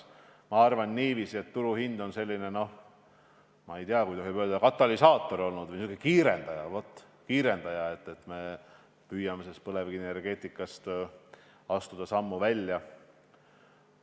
Ma arvan, et turuhind on selline katalüsaator või kiirendaja – just kiirendaja – sellele, et me püüame põlevkivienergeetikast sammu välja astuda.